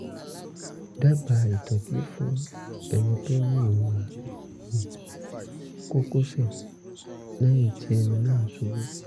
dábàá ìtọ́jú fún ẹni tó ní ìrora nínú kókósẹ̀ lẹ́yìn tí ẹni náà ṣubú